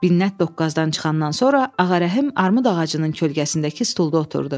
Minnət doqquzdan çıxandan sonra Ağarəhim armud ağacının kölgəsindəki stulda oturdu.